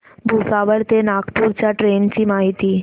भुसावळ ते नागपूर च्या ट्रेन ची माहिती